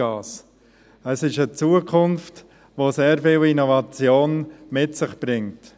Es ist eine Zukunft, die sehr viel Innovation mit sich bringt.